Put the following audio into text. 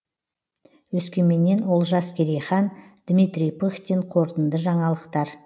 өскеменнен олжас керейхан дмитрий пыхтин қорытынды жаңалықтар